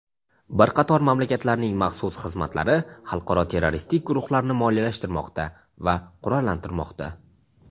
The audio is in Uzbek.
Bir qator mamlakatlarning maxsus xizmatlari xalqaro terroristik guruhlarni moliyalashtirmoqda va qurollantirmoqda.